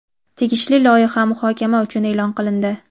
tegishli loyiha muhokama uchun e’lon qilindi.